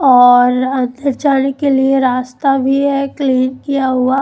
और अंदर जाने के लिए रास्ता भी है क्लीन किया हुआ ।